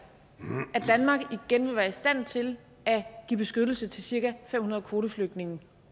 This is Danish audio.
at danmark igen vil være i stand til at give beskyttelse til cirka fem hundrede kvoteflygtninge